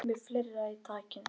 Með fleira í takinu